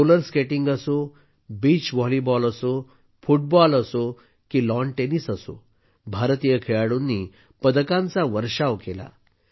roller skating असो beach volleyball असो football असो की लॉन टेनिस असो भारतीय खेळाडूंनी पदकांचा वर्षाव केला